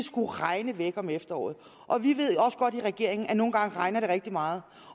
skulle regne væk om efteråret vi ved jo også godt i regeringen at det nogle gange regner rigtig meget